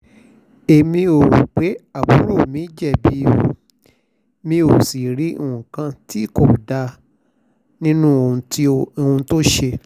èmi ò rò pé àbúrò mi jẹ̀bi o mi ò sì rí nǹkan tí kò dáa nínú ohun tó ṣe